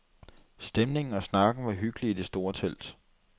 Stemningen og snakken var hyggelig i det store telt.